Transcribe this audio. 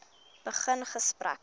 begin gesprekke